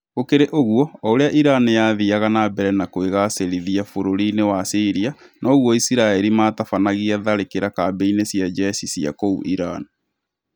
Gũkĩrĩ ũguo, o ũrĩa Iran yathiaga na mbere na kwĩgacĩrithia bũrũri-inĩ wa Syria noguo Isiraĩri matabanagia tharĩkĩra kambĩ-inĩ cia jeshi cia kũu Iran